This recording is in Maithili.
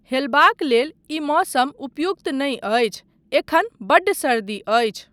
हेलबाक लेल ई मौसम उपयुक्त नहि अछि, एखन बड्ड सर्दी अछि।